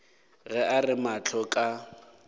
ge a re mahlo ka